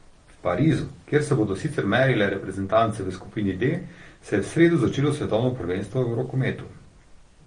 V Parizu, kjer se bodo sicer merile reprezentance v skupini D, se je v sredo začelo svetovno prvenstvo v rokometu.